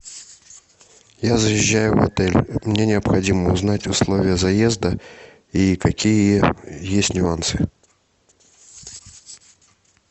я заезжаю в отель мне необходимо узнать условия заезда и какие есть нюансы